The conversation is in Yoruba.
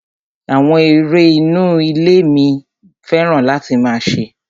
Àwọn eré inú ilé ní mo fẹ́ràn láti máa ṣe.